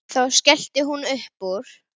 Þá skellti hún upp úr.